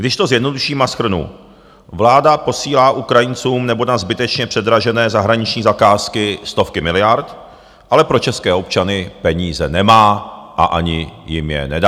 Když to zjednoduším a shrnu, vláda posílá Ukrajincům nebo na zbytečně předražené zahraniční zakázky stovky miliard, ale pro české občany peníze nemá a ani jim je nedá.